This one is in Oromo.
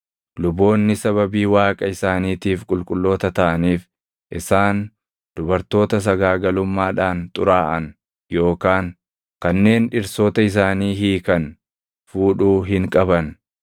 “ ‘Luboonni sababii Waaqa isaaniitiif qulqulloota taʼaniif isaan dubartoota sagaagalummaadhaan xuraaʼan yookaan kanneen dhirsoota isaanii hiikan fuudhuu hin qaban.